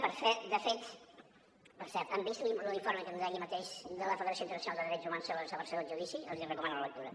per cert han vist l’informe d’ahir mateix de la federació internacional de drets humans sobre la celebració del judici els en recomano la lectura